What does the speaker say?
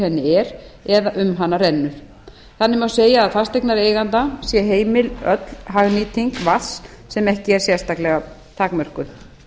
henni er eða um hana rennur þannig má segja að fasteignareiganda sé heimil öll hagnýting vatns sem ekki er sérstaklega takmörkuð